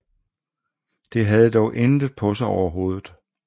Det havde dog intet på sig overhovedet